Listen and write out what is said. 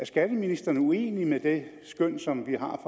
er skatteministeren uenig i det skøn som vi har